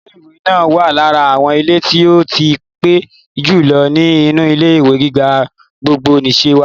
Ilé ìkàwé náà wà lára àwọn ilé tí ó tí pẹ́ jù lọ ní inú ilé-ìwé gíga gbogbonìse wa.